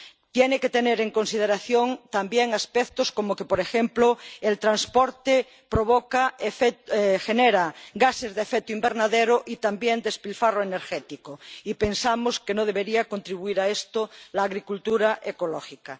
tiene que tener en consideración también aspectos como que, por ejemplo, el transporte genera gases de efecto invernadero y también despilfarro energético, y pensamos que no debería contribuir a esto la agricultura ecológica.